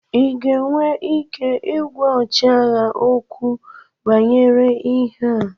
Ị ga-enwe ike ịgwa ọchịagha okwu banyere ịhe a?